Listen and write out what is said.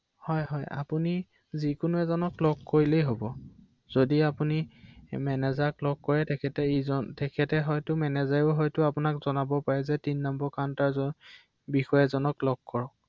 অ